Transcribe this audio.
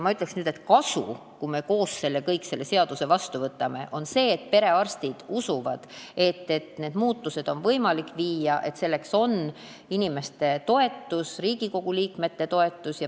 Ma ütleksin, et kui me kõik koos selle seaduse vastu võtame, siis on sellest kasu selles mõttes, et perearstid usuvad, et neid muutusi on võimalik ellu viia, ning selleks on olemas inimeste toetus, Riigikogu liikmete toetus.